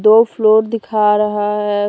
दो फ्लोर दिखा रहा है।